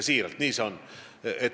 Siiralt, nii see on.